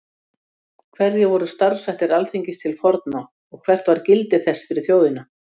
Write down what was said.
Hverjir voru starfshættir Alþingis til forna og hvert var gildi þess fyrir þjóðina?